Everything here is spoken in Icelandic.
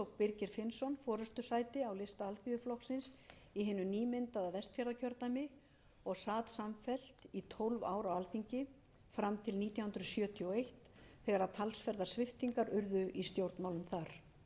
birgir finnsson forustusæti á lista alþýðuflokksins í hinu nýmyndaða vestfjarðakjördæmi og samfellt í tólf ár á alþingi fram til nítján hundruð sjötíu og eitt þegar talsverðar sviptingar urðu í stjórnmálum þar